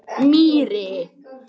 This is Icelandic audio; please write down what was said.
Mýri